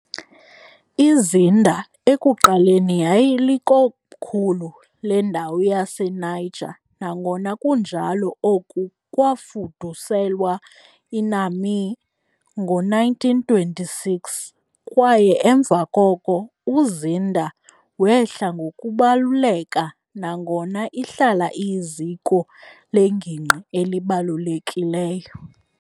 IZinder ekuqaleni yayilikomkhulu lendawo yaseNiger, nangona kunjalo oku kwafuduselwa iNiamey ngo-1926 kwaye emva koko uZinder wehla ngokubaluleka, nangona ihlala iyiziko lengingqi elibalulekileyo.